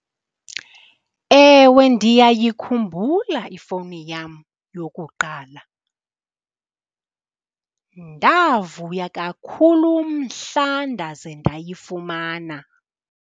Ewe, ndiyayikhumbula ifowuni yam yokuqala. Ndavuya kakhulu mhla ndaze ndayifumana.